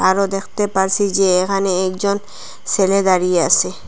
আরো দেখতে পারসি যে এখানে একজন সেলে দাঁড়িয়ে আসে।